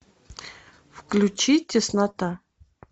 включи теснота